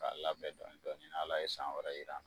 K'a labɛn dɔɔnin dɔɔnin ni Ala ye san wɛrɛ jir'an na